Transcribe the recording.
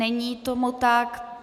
Není tomu tak.